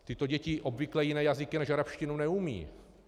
Tyto děti obvykle jiné jazyky než arabštinu neumí.